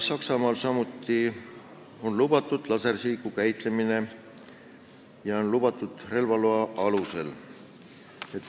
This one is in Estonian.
Saksamaal on lasersihiku käitlemine lubatud relvaloa alusel.